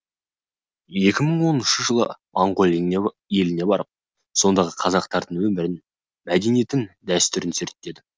екі мың онышыншы жылы моңғолия еліне барып сондағы қазақтардың өмірін мәдениетін дәстүрін зерттедім